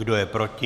Kdo je proti?